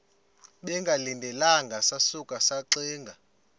bengalindelanga sasuka saxinga